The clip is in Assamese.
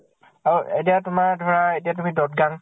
আৰু এতিয়া তোমাৰ ধৰা দব্জাং